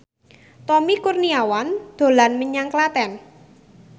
Tommy Kurniawan dolan menyang Klaten